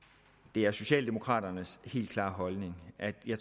det er socialdemokraternes helt klare holdning at vi